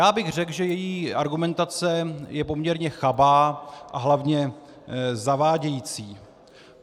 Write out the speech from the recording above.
Já bych řekl, že její argumentace je poměrně chabá a hlavně zavádějící.